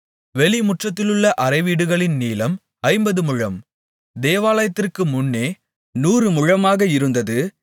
வெளிமுற்றத்திலுள்ள அறைவீடுகளின் நீளம் ஐம்பது முழம் தேவாலயத்திற்கு முன்னே நூறு முழமாக இருந்தது